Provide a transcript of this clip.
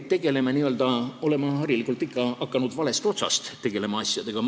Me oleme harilikult hakanud asjadega tegelema ikka valest otsast.